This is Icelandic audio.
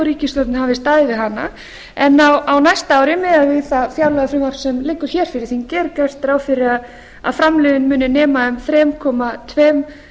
ríkisstjórnin hafi staðið við hana en á næsta ári miðað við það fjárlagafrumvarp sem liggur hér fyrir þingi er gert ráð fyrir að framlögin muni nema um þrjú komma tveimur